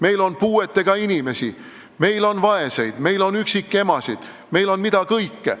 Meil on puuetega inimesi, meil on vaeseid, meil on üksikemasid, meil on mida kõike.